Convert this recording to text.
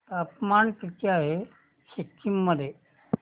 तापमान किती आहे सिक्किम मध्ये